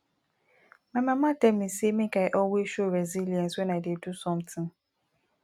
my mama tell me say make i always show resilience wen i dey do something